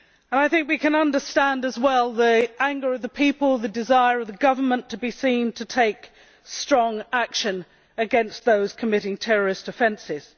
I think we can understand, too, the anger of the people and the desire of the government to be seen to take strong action against those committing terrorist offences.